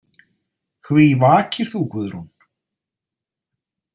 Hví vakir þú, Guðrún?